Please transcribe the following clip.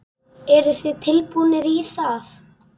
Eru þið tilbúnir í það?